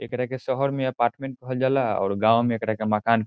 एकरा के शहर में अपार्टमेंट कहल जाला और गांव मे एकरा के मकान --